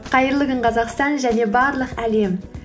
қайырлы күн қазақстан және барлық әлем